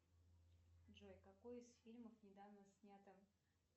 джой какой из фильмов недавно снятом